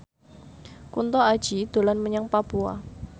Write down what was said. Kunto Aji dolan menyang Papua